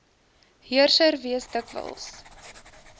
heerser wees dikwels